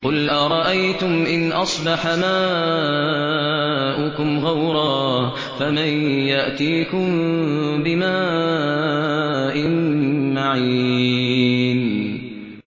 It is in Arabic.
قُلْ أَرَأَيْتُمْ إِنْ أَصْبَحَ مَاؤُكُمْ غَوْرًا فَمَن يَأْتِيكُم بِمَاءٍ مَّعِينٍ